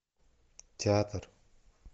театр